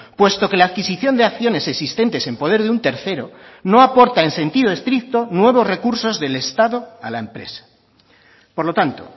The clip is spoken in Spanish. puesto que la adquisición de acciones existentes en poder de un tercero no aporta en sentido estricto nuevos recursos del estado a la empresa por lo tanto